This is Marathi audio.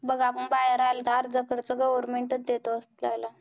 बघ आपण बाहेर आलो, तर अर्धा खर्च government चं देतं जायला.